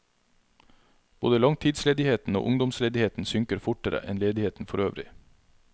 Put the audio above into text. Både langtidsledigheten og ungdomsledigheten synker fortere enn ledigheten forøvrig.